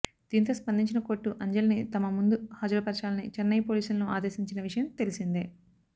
దీంతో స్పందించిన కోర్టు అంజలిని తమ ముందు హాజరుపర్చాలని చెన్నై పోలీసులను ఆదేశించిన విషయం తెలిసిందే